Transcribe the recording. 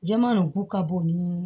Jamaku ka bon ni